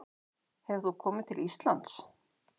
Hefur þú komið til Íslands?